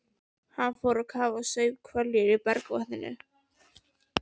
Hann fór á kaf og saup hveljur í bergvatninu.